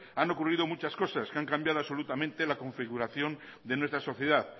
han ocurrido muchas cosas que han cambiado absolutamente la configuración de nuestra sociedad